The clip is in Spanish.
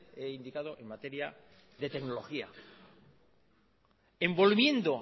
he indicado en materia de tecnología envolviendo